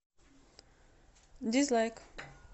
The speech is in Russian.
дизлайк